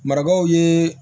Marabaw ye